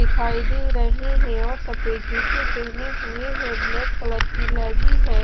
दिखाई दे रहे हैं और सफेद जूते पहने हुए हैं ब्लैक कलर की लगी है।